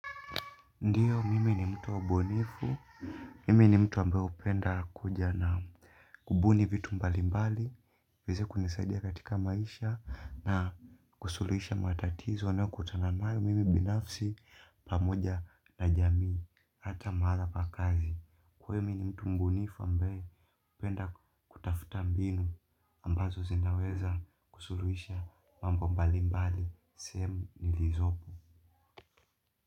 Ndio mimi ni mtu wa ubunifu mimi ambaye hupenda kuja na kubuni vitu mbalimbali iweze kunisaidia katika maisha na kusuluhisha matatizo nayokutana nayo mimi binafsi pamoja na jamii ata mahala pa kazi. Kwa iyo mimi ni mtu mbunifu ambaye napenda kutafuta mbinu ambazo zinaweza kusuruhisha mambo mbali mbali, sehemu ni lizopo.